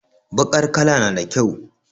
Bakar kala nada kyau